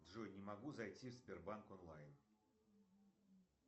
джой не могу зайти в сбербанк онлайн